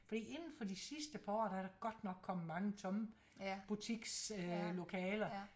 Men inden for de sidste par år der er der godt nok kommet mange tomme butiks øh lokaler